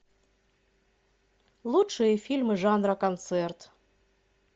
лучшие фильмы жанра концерт